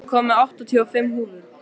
Fúsi, ég kom með áttatíu og fimm húfur!